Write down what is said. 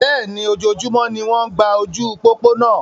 Bẹ́ẹ̀ni, ojoojúmọ́ ni wọ́n ń gba ojú pópó náa.